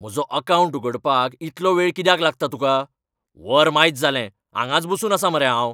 म्हजो अकावंट उघडपाक इतलो वेळ कित्याक लागता तुकां ? वर मायज जालें, हांगाच बसून आसा मरे हांव!